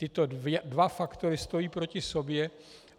Tyto dva faktory stojí proti sobě.